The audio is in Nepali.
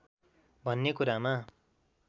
भन्ने कुरामा